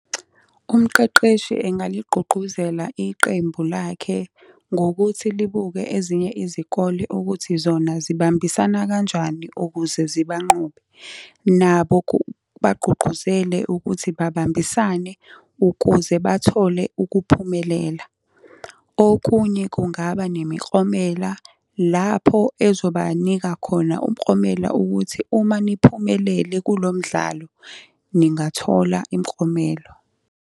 Umqeqeshi engaligqugquzela iqembu lakhe ngokuthi libuke ezinye izikole ukuthi zona zibambisana kanjani ukuze zibanqobe. Nabo kubagqugquzele ukuthi babambisane ukuze bathole ukuphumelela. Okunye kungaba nemiklomela lapho ezobanika khona umklomela ukuthi uma niphumelele kulo mdlalo, ningathola imklomelo.